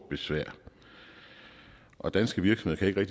besvær og danske virksomheder